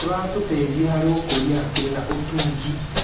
Kĩratũteithia harĩ gũkũria hakiri na ũtungi.